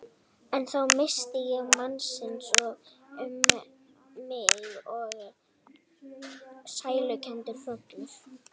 En þá minnist ég mannsins og um mig fer sælukenndur hrollur.